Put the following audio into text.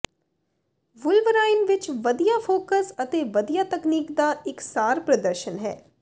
Wolverine ਵਿਚ ਵਧੀਆ focus ਅਤੇ ਵਧੀਆ ਤਕਨੀਕ ਦਾ ਇਕਸਾਰ ਪ੍ਰਦਰਸ਼ਨ ਹੈ